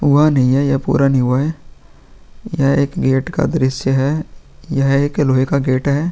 हुआ नहीं है ये पूरा नहीं हुआ है यह एक गेट का दृस्य है यह एक लोहे का गेट है ।